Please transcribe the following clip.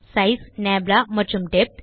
size நப்லா மற்றும் depth